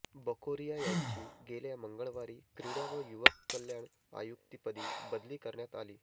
बकोरिया यांची गेल्या मंगळवारी क्रीडा व युवक कल्याण आयुक्तपदी बदली करण्यात आली